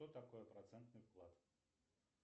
что такое процентный вклад